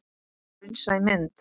Raunsæ mynd?